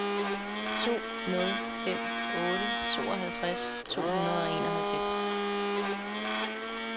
to nul fem otte tooghalvtreds to hundrede og enoghalvfems